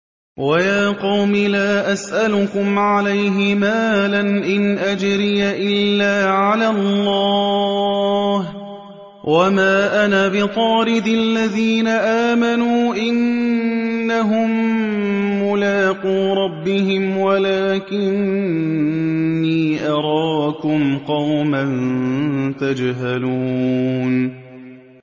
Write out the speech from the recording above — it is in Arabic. وَيَا قَوْمِ لَا أَسْأَلُكُمْ عَلَيْهِ مَالًا ۖ إِنْ أَجْرِيَ إِلَّا عَلَى اللَّهِ ۚ وَمَا أَنَا بِطَارِدِ الَّذِينَ آمَنُوا ۚ إِنَّهُم مُّلَاقُو رَبِّهِمْ وَلَٰكِنِّي أَرَاكُمْ قَوْمًا تَجْهَلُونَ